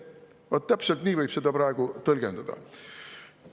Vaat täpselt nii võib seda praegust tõlgendada.